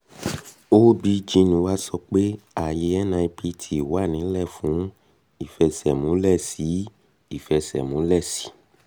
obgyn wa sọ pé ààyè nipt wà ńílẹ̀ fún ìfẹsẹ̀múlẹ̀ sí i ìfẹsẹ̀múlẹ̀ sí i